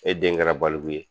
E den kɛra baliku ye